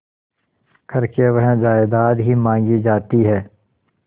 करके वह जायदाद ही मॉँगी जाती है